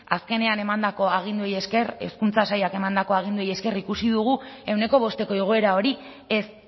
azkenean emandako aginduei esker hezkuntza sailak emandako aginduei esker ikusi dugu ehuneko bosteko igoera hori ez